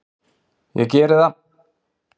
Ég gerði það.